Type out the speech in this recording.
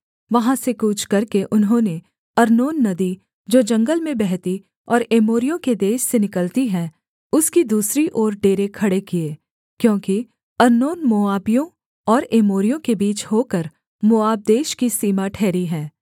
वहाँ से कूच करके उन्होंने अर्नोन नदी जो जंगल में बहती और एमोरियों के देश से निकलती है उसकी दूसरी ओर डेरे खड़े किए क्योंकि अर्नोन मोआबियों और एमोरियों के बीच होकर मोआब देश की सीमा ठहरी है